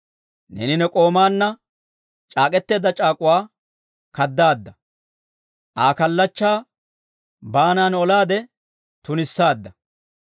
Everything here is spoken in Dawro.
Neeni ne k'oomaanna c'aak'k'eteedda c'aak'uwaa kaddaadda; Aa kallachchaa baanan olaade tunissaadda.